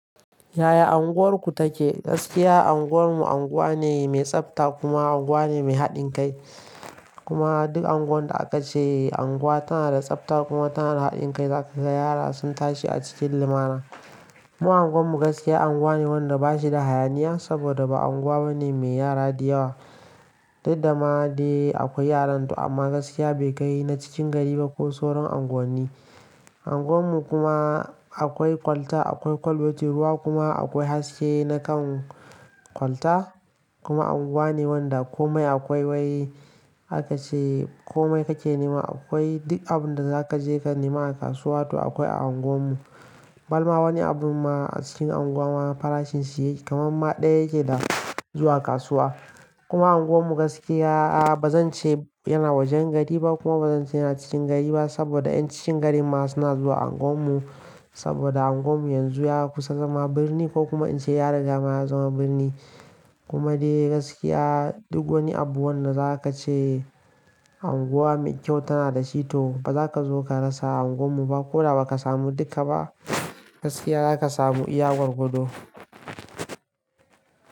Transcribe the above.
Yaya unguwarku take? Gaskiya unguwarmu unguwa ne mai tsafta kuma unguwa ne mai haɗin kai. Kuma duk unguwar da aka ce unguwa tana da tsafta kuma tana da haɗin kai, za ka ga yara sun tashi a cikin limana. Mu unguwarmu gaskiya unguwa ne wanda ba shi da hayaniya saboda ba unguwa ba ne mai yara da yawa. Daddama dai akwai yaranta amma gaskiya bai kai na cikin gari ba ko sauran unguwanni. Unguwarmu kuma akwai kwalta, akwai kwalbar ruwa kuma akwai haske na kan kwalta. Kuma unguwa ne wanda komai akwai wai aka ce komai kake nema akwai. Duk abin da za ka je ka nema a kasuwa toh akwai a unguwarmu. Balma wani abu ma a cikin unguwa farashin shi kamar ma ɗaya yake da zuwa kasuwa. Kuma unguwarmu gaskiya ba zan ce yana wajen gari ba kuma ba zan ce yana cikin gari ba saboda 'yan cikin gari ma suna zuwa unguwarmu saboda unguwarmu yanzu ya kusa zama birni ko kuma in ce yara da dama ya zama birni. Kuma dai gaskiya duk wani abu wanda za ka ce unguwa mai kyau tana da shi toh ba za ka zo ka rasa a unguwarmu ba ko da ba ka samu duka ba gaskiya za ka samu iya gwar gwado.